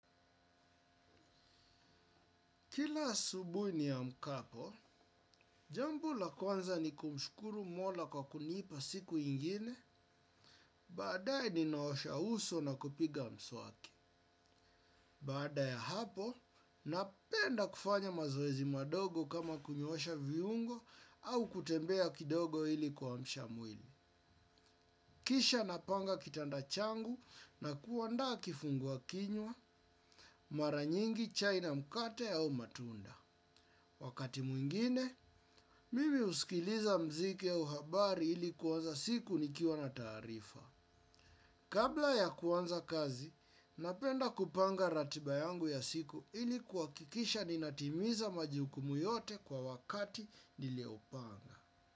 Kila asubui niamkapo, jambo la kwanza ni kumshukuru mola kwa kunipa siku ingine, baadae ninaosha uso nakupiga mswaki. Baada ya hapo, napenda kufanya mazoezi madogo kama kunyoosha viungo au kutembea kidogo ili kuamsha mwili. Kisha napanga kitanda changu na kuandaa kifungua kinywa, maranyingi chai na mkate au matunda. Wakati mwingine, mimi usikiliza mziki au habari ili kuwanza siku nikiwa na taarifa. Kabla ya kuwanza kazi, napenda kupanga ratiba yangu ya siku ili kuwakikisha ninatimiza majukumu yote kwa wakati niliopanga.